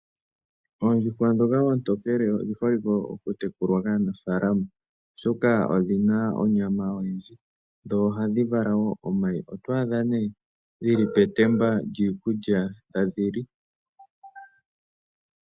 Oondjuhwa ndhoka oontokele odhi holike okutekulwa kaanafaalama, oshoka odhi na onyama oyindji dho ohadhi vala wo omayi. Oto adha nee dhi li petemba lyiikulya tadhi li.